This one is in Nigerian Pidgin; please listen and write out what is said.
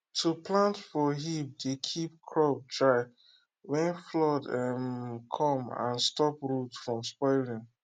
to plant for heap dey keep crop dry when flood um come and stop root from spoiling